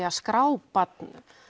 að skrá barn